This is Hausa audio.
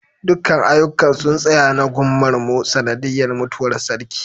dukkan aiyukan sun tsaya na gunmar mu sanadiyar mutuwar sarki